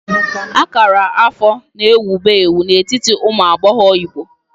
Akara afọ na ewubu ewu n'etiti ụmụ agbọghọ Igbo.